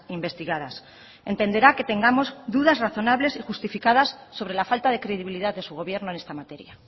investigadas entenderá que tengamos dudas razonables y justificadas sobre la falta de credibilidad de su gobierno en esta materia